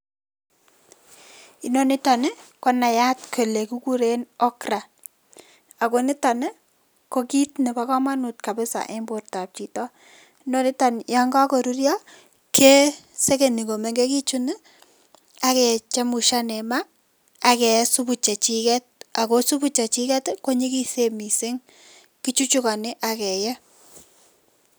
Inoniton ko naiyat kole kikuren okra ako niton ii ko kit nebo komonut kabisa en bortab chito. Noniton yon kokorurio kesekeni komengegitun ak kechemusian en maa ak kee supu chechiket ago supu chechiket konyigisen missing' kichuchukoni ak kee.